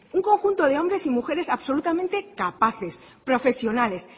un conjunto de hombres y mujeres absolutamente capaces profesionales